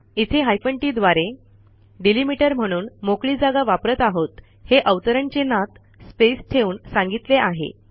इथे hyphen TT द्वारे delimiter म्हणून मोकळी जागा वापरत आहोत हे अवतरण चिन्हात स्पेस ठेवून सांगितले आहे